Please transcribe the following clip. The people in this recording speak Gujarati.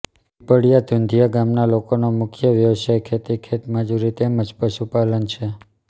પીપળીયા ધુંધીયા ગામના લોકોનો મુખ્ય વ્યવસાય ખેતી ખેતમજૂરી તેમ જ પશુપાલન છે